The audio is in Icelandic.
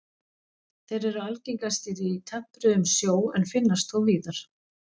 Þeir eru algengastir í tempruðum sjó en finnast þó víðar.